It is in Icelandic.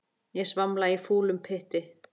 Ég svamla í fúlum pytti.